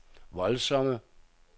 voldsomme